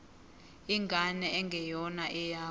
ingane engeyona eyakho